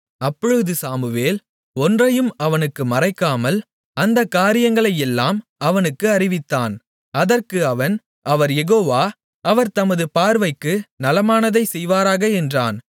அப்பொழுது சாமுவேல் ஒன்றையும் அவனுக்கு மறைக்காமல் அந்தக் காரியங்களையெல்லாம் அவனுக்கு அறிவித்தான் அதற்கு அவன் அவர் யெகோவா அவர் தமது பார்வைக்கு நலமானதைச் செய்வாராக என்றான்